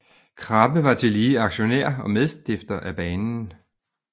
Krabbe var tillige aktionær og medstifter af jernbanen